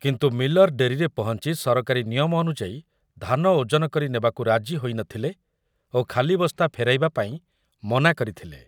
କିନ୍ତୁ ମିଲର୍ ଡେରିରେ ପହଞ୍ଚୁ ସରକାରୀ ନିୟମ ଅନୁଯାୟୀ ଧାନ ଓଜନ କରି ନେବାକୁ ରାଜି ହୋଇ ନ ଥିଲେ ଓ ଖାଲି ବସ୍ତା ଫେରାଇବାପାଇଁ ମନା କରିଥିଲେ ।